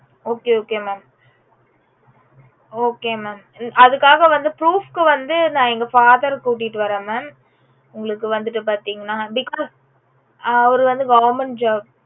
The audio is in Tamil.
okay okay mam okay mam அதுக்காக வந்து proof க்கு வந்து எங்க father கூட்டிட்டு வரேன் mam உங்களுக்கு வந்துட்டு பாத்தீங்கன்னா because அவரு வந்து government job